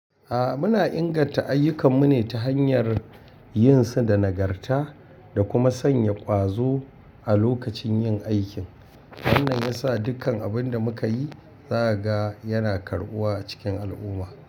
A'a muna inganta ayyukanmu ne ta hanyar yin su da nagarta da kuma sanya ƙwazo a lokacin yin aikin. Wannan ya sa dukkan abin da muka yi, za a ga yana karɓuwa cikin al'umma.